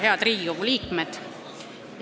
Head Riigikogu liikmed!